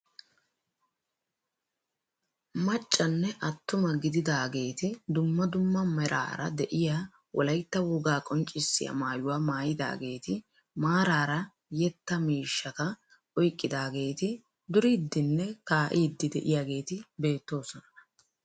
Maccanne attuma gididaageti dumma dumma meraara de'iyaa wolaytta wogaa qonccisiyaa maayuwaa maayidaageti maarara yeettaa miishshata oyqqidaageti duriidinne kaa'iidi de'iyaageti beettoosona.